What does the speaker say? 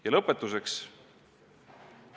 Ja lõpetuseks.